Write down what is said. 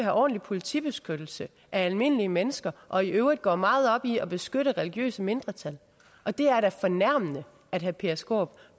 ordentlig politibeskyttelse af almindelige mennesker og i øvrigt går meget op i at beskytte religiøse mindretal det er da fornærmende at herre peter skaarup